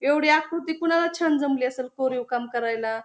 एवढी आकृती कुणाला छान जमली असल कोरीव काम करायला.